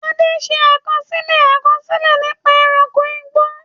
Ade ṣe àkọsílẹ̀ àkọsílẹ̀ nípa ẹranko igbó.